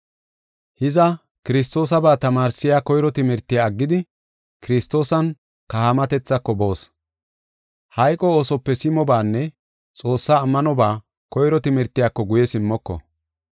Hiza, Kiristoosaba tamaarsiya koyro timirtiya aggidi Kiristoosan kahaamatethako boos. Hayqo oosope simobaanne Xoossaa ammanoba koyro timirtiyako guye simmoko.